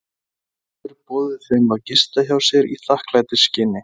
Friðþjófur boðið þeim að gista hjá sér í þakklætisskyni.